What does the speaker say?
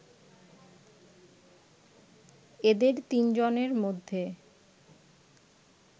এদের তিন জনের মধ্যে